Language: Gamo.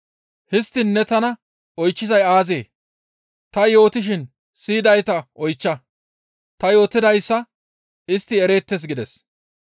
Histtiin ne tana oychchizay aazee? Ta yootishin siyidayta oychcha; ta yootidayssa istti ereettes» gides.